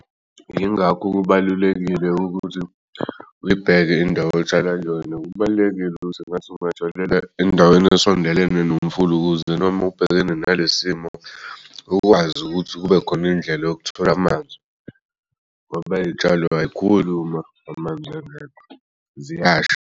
Yingakho kubalulekile ukuthi uyibheke indawo otshala kuyona. Kubalulekile ukuthi ngathi ungatshalela endaweni esondelene nomfula ukuze noma ubhekene nalesi simo ukwazi ukuthi kubekhon'ndlela yokuthola amanzi ngoba iy'tshalo aykhuli uma amanzi engekho.